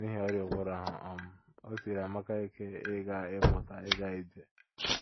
N’ihi ọrịa ụbụrụ ahụ, um o siiri Amaka ike ịmụta ịga ịmụta ịga ije.